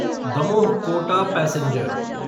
Damoh Kota passenger